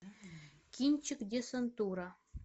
кинчик десантура